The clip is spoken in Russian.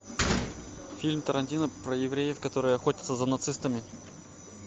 фильм тарантино про евреев которые охотятся за нацистами